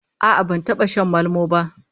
A'a, ban taba shan malmo ba